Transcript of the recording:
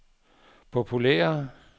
populære